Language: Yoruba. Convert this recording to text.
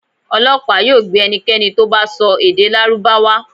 Ọlọpa yoo gbe ẹnikẹni to bá sọ èdè lárúbáwá